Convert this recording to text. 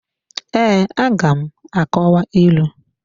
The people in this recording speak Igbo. Ee, aga m akọwa ịlụ.